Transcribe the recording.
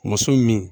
Muso min